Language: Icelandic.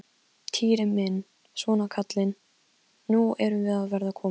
Týri minn, svona kallinn, nú erum við að verða komin.